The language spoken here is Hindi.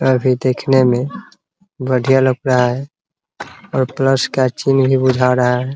घर भी देखने में बढ़िया लग रहा है और प्लस का चिन्ह भी बुझा रहा है ।